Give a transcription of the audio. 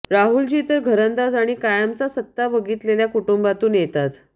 राहुलजी तर घरंदाज आणि कायमच सत्ता बघितलेल्या कुटुंबातून येतात